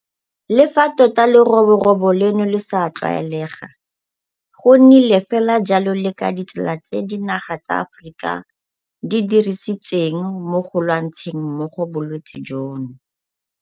Le fa tota leroborobo leno le sa tlwaelega, go nnile fela jalo le ka ditsela tse dinaga tsa Aforika di di dirisitseng mo go lwantsheng mmogo bolwetse jono.